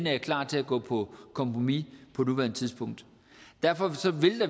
er klar til at gå på kompromis på nuværende tidspunkt derfor